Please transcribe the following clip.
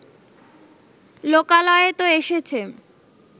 লোকালয়ে তো এসেছে